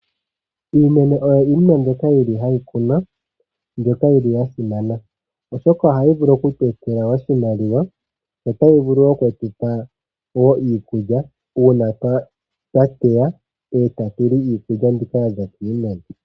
Iimeno oyo iinima mbyoka yili hayi kunwa mbyoka yili ya simana oshoka ohayi vulu okutu etela oshimaliwa yo otayi vulu okutupa iikulya uuna twa teya etatu li iinima mbika yaza kiimeno.